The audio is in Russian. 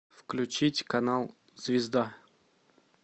включить канал звезда